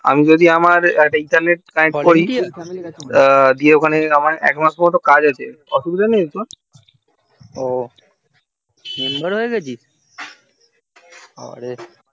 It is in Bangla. আমার এক ম্যাশ পর্যন্ত কাজ হয়েছে অসুবিধা নেই তো ও